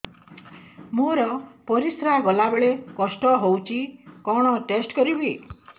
ମୋର ପରିସ୍ରା ଗଲାବେଳେ କଷ୍ଟ ହଉଚି କଣ ଟେଷ୍ଟ କରିବି